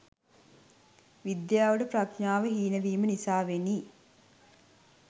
විද්‍යාවට ප්‍රඥාව හීනවීම නිසාවෙනි.